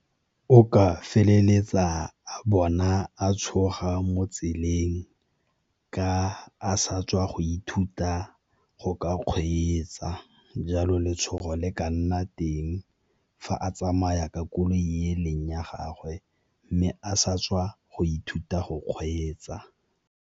O ka feleletsa a bona a tshoga mo tseleng ka a sa tswa go ithuta go ka kgweetsa, jalo letshogo le ka nna teng fa a tsamaya ka koloi e leng ya gagwe mme a sa tswa go ithuta go kgweetsa.